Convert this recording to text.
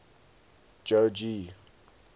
jogee